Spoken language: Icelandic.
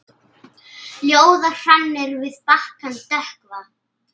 Ljóða hrannir við bakkann dökkva.